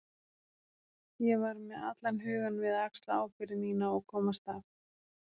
Ég var með allan hugann við að axla ábyrgð mína og komast af.